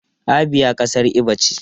Abia kasar Igbo ce.